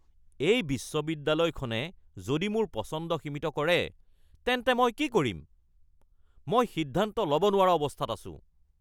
এই বিশ্ববিদ্যালয়খনে যদি মোৰ পচন্দ সীমিত কৰে তেন্তে মই কি কৰিম? মই সিদ্ধান্ত ল'ব নোৱৰা অৱস্থাত আছো (ছাত্ৰ)